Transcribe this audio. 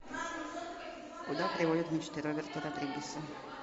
куда приводят мечты роберта родригеса